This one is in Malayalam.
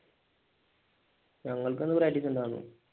ഞങ്ങൾക്കിന്ന് practise ഉണ്ടാരുന്ന്